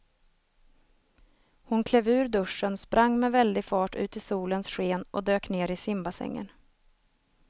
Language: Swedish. Hon klev ur duschen, sprang med väldig fart ut i solens sken och dök ner i simbassängen.